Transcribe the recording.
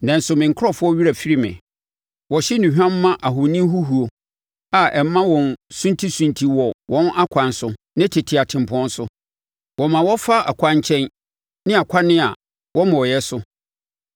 Nanso, me nkurɔfoɔ werɛ afiri me. Wɔhye nnuhwam ma ahoni huhuo, a ɛma wɔn suntisunti wɔ wɔn akwan so ne tete atempɔn so. Wɔma wɔfa akwan nkyɛn ne akwan a wɔmmɔeɛ so.